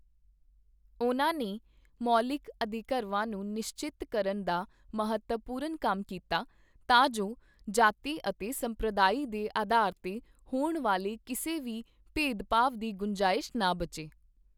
ਉਨ੍ਹਾਂ ਨੇ ਮੌਲਿਕ ਅਧਿਕਰਵਾਂ ਨੂੰ ਨਿਸ਼ਚਿਤ ਕਰਨ ਦਾ ਮਹੱਤਵਪੂਰਨ ਕੰਮ ਕੀਤਾ, ਤਾਂ ਜੋ ਜਾਤੀ ਅਤੇ ਸੰਪ੍ਰਦਾਇ ਦੇ ਅਧਾਰ ਤੇ ਹੋਣ ਵਾਲੇ ਕਿਸੇ ਵੀ ਭੇਦਭਾਵ ਦੀ ਗੁੰਜਾਇਸ਼ ਨਾ ਬਚੇ।